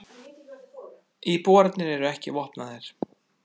Íbúarnir eru ekki vopnaðir